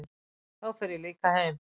Þá fer ég líka heim